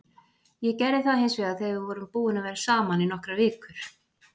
Ég gerði það hins vegar þegar við vorum búin að vera saman í nokkrar vikur.